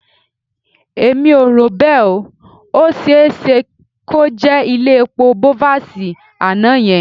Èmi ò rò bẹ́ẹ̀. Ó ṣe é ṣe kó jẹ́ ilé epo Bovas àná yẹn